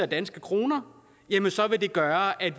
danske krone så vil det gøre at